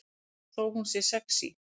Þó hún sé sexí.